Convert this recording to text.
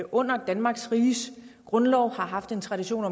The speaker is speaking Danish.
under danmarks riges grundlov har haft en tradition